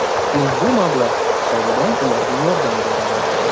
Ushbu mablag‘ hisobidan ularga yordam beradi.